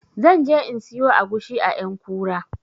Zan je in siyo agushi a ƴankura